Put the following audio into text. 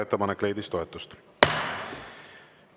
Ettepanek leidis toetust.